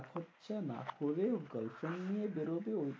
হচ্ছে না করে girlfriend নিয়ে বেরোবে।